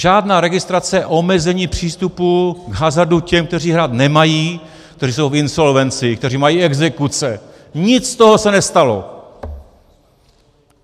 Žádná registrace, omezení přístupu k hazardu těm, kteří hrát nemají, kteří jsou v insolvenci, kteří mají exekuce, nic z toho se nestalo.